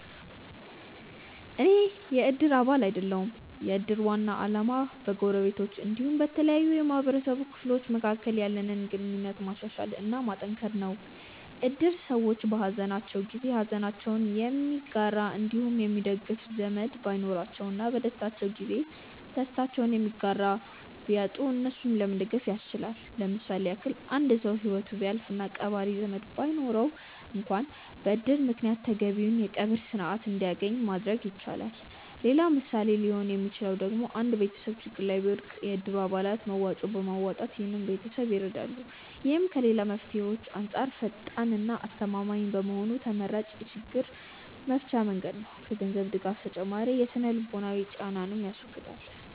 አኔ የ እድር አባል አይደለሁም። የ እድር ዋና አላማ በ ጎረቤቶች አንዲሁም በተለያዩ የ ማህበረሰቡ ክፍሎች መካከል ያለንን ግንኙነት ማሻሻል እና ማጠንከር ነው። እድር ሰዎች በ ሃዘናቸው ጊዜ ሃዘናቸውን የሚጋራ አንዲሁም የሚደግፍ ዘመድ ባይኖራቸው እና በ ደስታቸው ጊዜ ደስታቸውን የሚጋራ ቢያጡ እነሱን ለመደገፍ ያስችላል። ለምሳሌ ያክል አንድ ሰው ሂወቱ ቢያልፍ እና ቀባሪ ዘመድ ባይኖረው አንክዋን በ እድር ምክንያት ተገቢውን የ ቀብር ስርዓት አንድያገኝ ማድረግ ይቻላል። ሌላ ምሳሌ ሊሆን ሚችለው ደግሞ አንድ ቤተሰብ ችግር ላይ ቢወድቅ የ እድሩ አባላት መዋጮ በማዋጣት ይህን ቤተሰብ ይረዳሉ። ይህም ከ ሌላ መፍትሄዎች አንጻር ፈጣን እና አስተማማኝ በመሆኑ ተመራጭ የ ችግር መፍቻ መንገድ ነው። ከ ገንዘብ ድጋፍ ተጨማሪ የ ስነ-ልቦናዊ ጫናንንም ያስወግዳል።